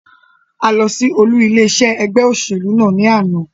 A lọ sí olú ilé iṣé ẹgbẹ́ òṣèlú náà ní àná.